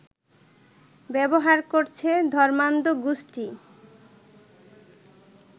ব্যবহার করছে ধর্মান্ধ গোষ্ঠী